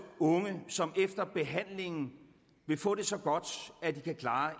unge som efter behandlingen vil få det så godt at de kan klare